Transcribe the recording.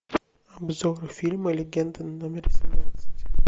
обзор фильма легенда номер семнадцать